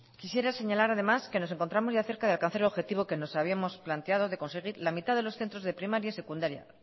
quisiera señalar además que nos encontramos ya cerca de alcanzar el objetivo que nos habíamos planteado de conseguir la mitad de los centros de primaria y secundaria